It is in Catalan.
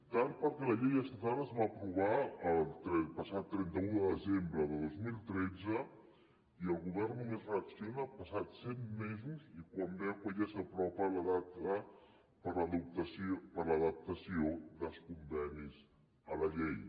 tard perquè la llei estatal es va aprovar el passat trenta un de desembre de dos mil tretze i el govern només reacciona passats set mesos i quan veu que ja s’apropa la data per a l’adaptació dels convenis a la llei